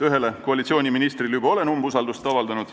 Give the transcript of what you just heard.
Ühele koalitsiooniministrile olen aasta alguses umbusaldust avaldanud ...